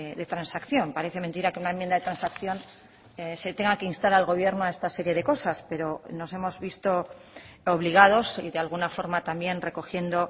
de transacción parece mentira que una enmienda de transacción se tenga que instar al gobierno a esta serie de cosas pero nos hemos visto obligados y de alguna forma también recogiendo